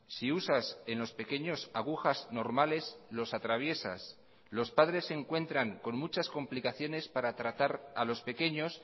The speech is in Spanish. si usas en los pequeños agujas normales los atraviesas los padres se encuentran con muchas complicaciones para tratar a los pequeños